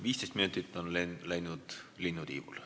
15 minutit on läinud linnutiivul.